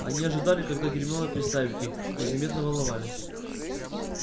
они ожидали когда гермиона представит их и заметно волновались